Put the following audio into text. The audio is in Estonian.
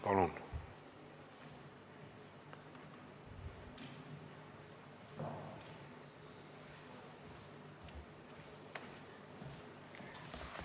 Palun!